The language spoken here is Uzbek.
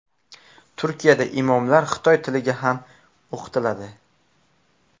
Turkiyada imomlar xitoy tiliga ham o‘qitiladi.